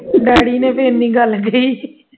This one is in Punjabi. daddy ਨੇ ਤੇ ਇੰਨੀ ਗੱਲ ਕਹੀ